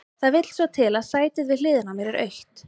Það vill svo til að sætið við hliðina á mér er autt.